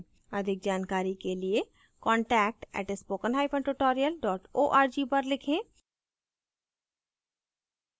अधिक जानकारी के लिए contact @spoken hyphen tutorial dot org पर लिखें